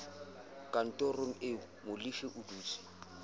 kantorong eo molefi a dutseng